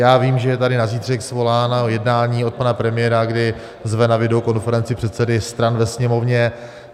Já vím, že je tady na zítra svoláno jednání od pana premiéra, kdy zve na videokonferenci předsedy stran ve Sněmovně.